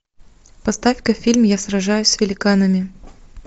поставь ка фильм я сражаюсь с великанами